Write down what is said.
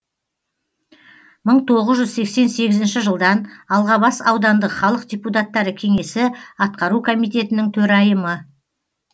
мың тоғыз жүз сексен сегізінші жылдан алғабас аудандық халық депутаттары кеңесі атқару комитетінің төрайымы